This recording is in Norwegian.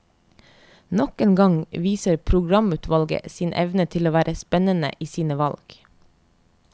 Nok en gang viser programutvalget sin evne til å være spennende i sine valg.